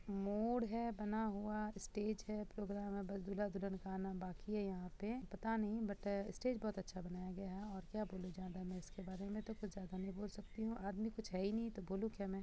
मोड़ है बना हुआ स्टेज है प्रोग्राम है बस दूल्हा-दुल्हन का आना बाकि है यहाँ पे पता नहीं बट स्टेज बहुत अच्छा बनाया गया है और क्या बोलू ज्यादा मै इसके बारे में तो कुछ ज्यादा नहीं बोल सकती हु आदमी कुछ है ही नहीं तो बोलू क्या मै।